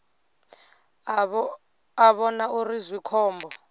a vhona uri zwi khombo